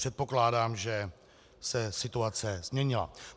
Předpokládám, že se situace změnila.